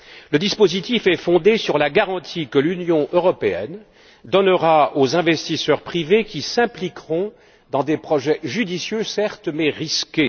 Le dispositif est fondé sur la garantie que l'Union européenne donnera aux investisseurs privés qui s'impliqueront dans des projets judicieux, certes, mais risqués.